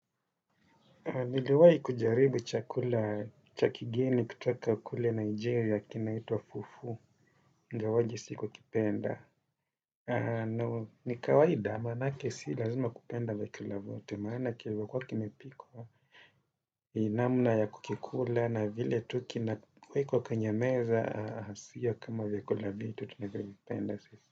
Niliwai kujaribu chakula cha kigeni kutoka kule Nigeria kinaitwa Fufu. Ingawaje sikukipenda. Ni kawaida maanake si lazima kupenda vyakula vyote maana kilivyokuwa kimepikwa namna ya kukikula na vile tu kinawekwa kwenye meza sio kama vyakula vyetu tunavyovipenda sisi.